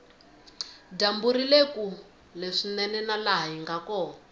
dyambu rile kule swinene na laha hinga kona